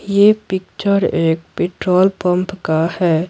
यह पिक्चर एक petrol pump का है।